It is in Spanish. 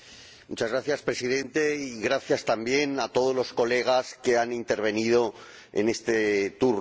Señor Presidente, gracias también a todos los colegas que han intervenido en este turno.